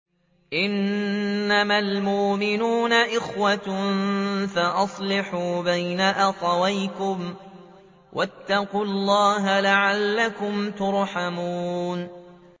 إِنَّمَا الْمُؤْمِنُونَ إِخْوَةٌ فَأَصْلِحُوا بَيْنَ أَخَوَيْكُمْ ۚ وَاتَّقُوا اللَّهَ لَعَلَّكُمْ تُرْحَمُونَ